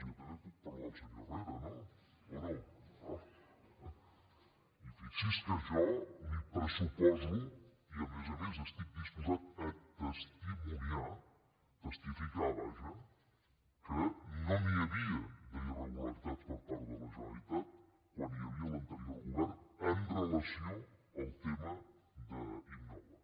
jo també puc parlar del senyor herrera no o no i fixi’s que jo li pressuposo i a més a més estic disposat a testimoniar testificar vaja que no n’hi havia d’irregularitats per part de la generalitat quan hi havia l’anterior govern amb relació al tema d’innova